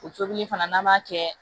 O tobili fana n'an b'a kɛ